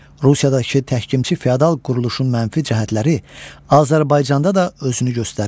Rusiyadakı təhkimçi feodal quruluşun mənfi cəhətləri Azərbaycanda da özünü göstərirdi.